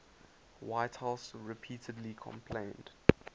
whitehouse repeatedly complained